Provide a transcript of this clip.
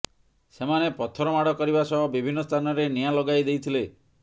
ସେମାନେ ପଥର ମାଡ଼ କରିବା ସହ ବିଭିନ୍ନ ସ୍ଥାନରେ ନିଆଁ ଲଗାଇ ଦେଇଥିଲେ